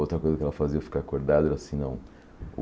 Outra coisa que ela fazia, eu ficar acordado, era assim, não.